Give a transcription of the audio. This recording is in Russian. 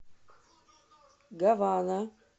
гавана